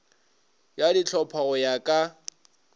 ya dihlopha go ya ka